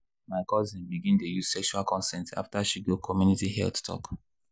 my cousin begin dey use sexual consent after she go community health talk.